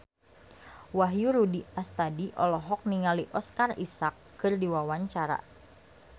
Wahyu Rudi Astadi olohok ningali Oscar Isaac keur diwawancara